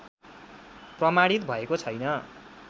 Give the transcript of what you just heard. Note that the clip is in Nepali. प्रमाणित भएको छैन